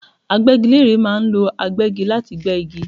Agbẹ́gilére ma ń lo agbẹ́gi láti gbé igi